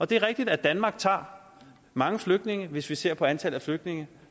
det er rigtigt at danmark tager mange flygtninge hvis vi ser på antallet af flygtninge